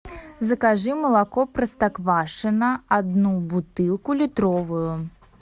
закажи молоко простоквашино одну бутылку литровую